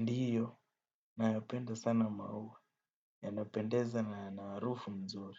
Ndiyo, nayapenda sana maua. Yanapendeza na yana harufu nzuri.